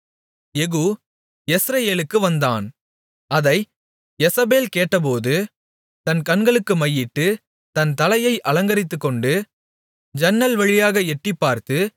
யெகூ யெஸ்ரயேலுக்கு வந்தான் அதை யேசபேல் கேட்டபோது தன் கண்களுக்கு மையிட்டு தன் தலையை அலங்கரித்துக்கொண்டு ஜன்னல் வழியாக எட்டிப்பார்த்து